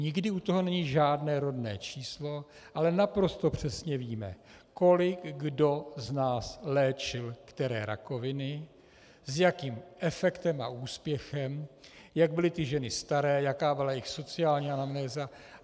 Nikdy u toho není žádné rodné číslo, ale naprosto přesně víme, kolik kdo z nás léčil které rakoviny, s jakým efektem a úspěchem, jak byly ty ženy staré, jaká byla jejich sociální anamnéza.